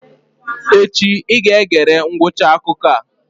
Echi I ga-egere ngwụcha akụkọ a!